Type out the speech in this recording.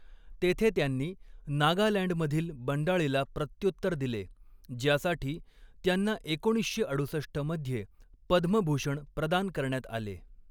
तेथे त्यांनी नागालँडमधील बंडाळीला प्रत्युत्तर दिले, ज्यासाठी त्यांना एकोणीसशे अडुसष्ट मध्ये पद्मभूषण प्रदान करण्यात आले.